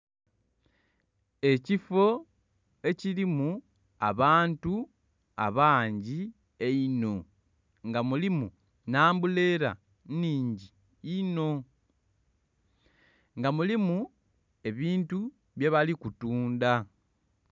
Ekifo ekirimu abantu abangi einho nga mulimu ne ambulera nnhingi inho nga mulimu ebintu bye bali kutundha.